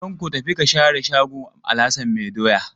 Tanko, tafi ka share shago Alhassan mai doya.